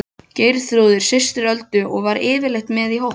Geirþrúður systir Öldu var yfirleitt með í hópnum.